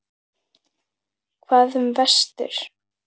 Hvað um vestur?